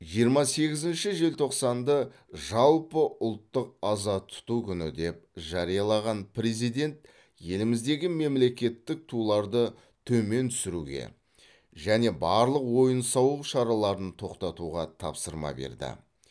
жиырма сегізінші желтоқсанды жалпыұлттық аза тұту күні деп жариялаған президент еліміздегі мемлекеттік туларды төмен түсіруге және барлық ойын сауық шараларын тоқтатуға тапсырма берді